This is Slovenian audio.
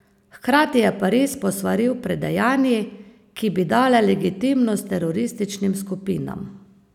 Hkrati je Pariz posvaril pred dejanji, ki bi dala legitimnost terorističnim skupinam.